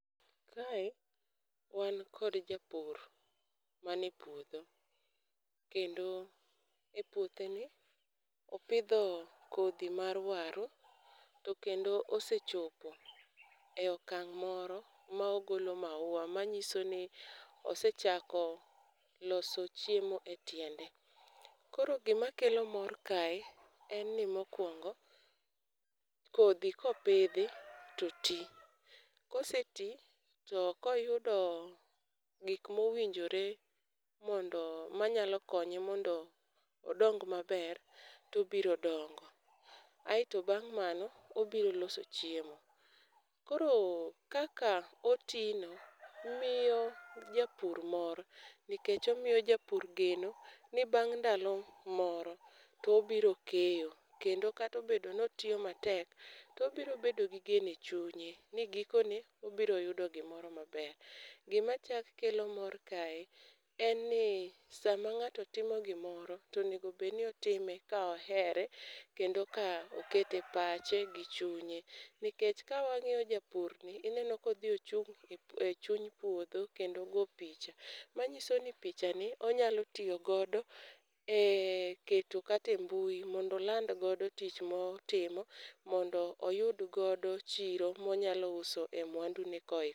Kae, wan kod japur mani e puodho, kendo e puothe ni opidho kodhi mar waru, to kendo osechopo e okang' moro ma ogolo maua. Manyiso ni osechako loso chiemo e tiende. Koro gima kelo mor kae en ni mokuongo, kodhi kopidhi to ti. Kosetii to koyudo gik mowinjore mondo manyalo konye mondo odong maber to obiro dongo. Aeto bang' mano obiro loso chiemo. Koro kaka otino miyo japur mor nikech omiyo japur geno ni bang' ndalo mor to obiro keyo. Kendo kata obedo ni otiyo matek, to obiro bedo gi geno chunye, ni gikone obiro yudo gimoro maber. Gima chak kelo mor kae en ni sama ng'ato timo gimoro to onego bed ni otime ka ohere kendo ka okete pache gi chunye. Nikech ka wang'iyo japurni ineno ka odhi ochung' e chuny puodho, kendo go picha. Manyiso ni picha ni onyalo tiyo godo e keto kata e mbui mondo oland godo tich motimo, mondo oyud godo chiro monyalo uso e mwandune.